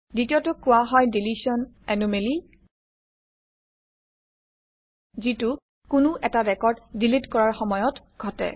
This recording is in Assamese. দ্বিতীয়টোক কোৱা হয় ডিলিশ্যন এনোমেলি যিটো কোনো এটা ৰেকৰ্ড ডিলিট কৰাৰ সময়ত ঘটে